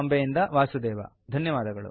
ಬಾಂಬೆಯಿಂದ ವಾಸುದೇವ